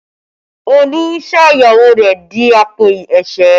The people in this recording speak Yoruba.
Olú sọ ìyàwó rẹ̀ di àpò ẹ̀sẹ́